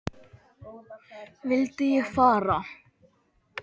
Vildi ég fara?